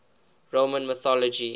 roman mythology